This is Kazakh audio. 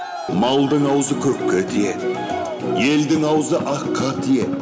малдың аузы көкке тиер елдің аузы аққа тиер